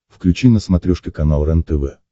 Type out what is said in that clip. включи на смотрешке канал рентв